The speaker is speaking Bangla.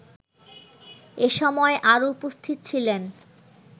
এসময় আরো উপস্থিত ছিলেন